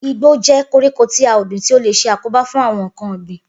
Igbó jé̩ koríko ti à ò gbìn tí ó lè s̩e àkóbá fún àwo̩n nǹkan ò̩gbìn